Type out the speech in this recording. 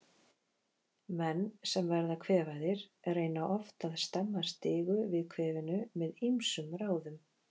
Menn sem verða kvefaðir reyna oft að stemma stigu við kvefinu með ýmsum ráðum.